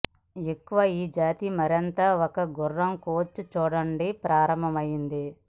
ఎక్కువ ఈ జాతి మరింత ఒక గుర్రం కోచ్ చూడండి ప్రారంభమైంది